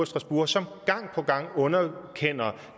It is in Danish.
strasbourg som gang på gang underkender